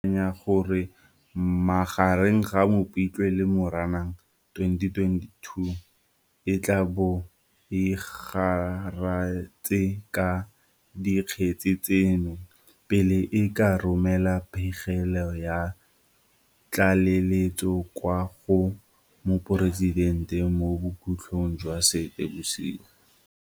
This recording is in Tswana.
SIU e akanya gore magareng ga Mopitlwe le Moranang 2022 e tla bo e garetse ka dikgetse tseno, pele e ka romela pegelo ya tlaleletso kwa go Moporesidente mo bokhutlhong jwa Seetebosigo.